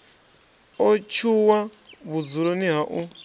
o tshuwa vhudzuloni ha u